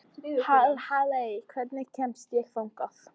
Halley, hvernig kemst ég þangað?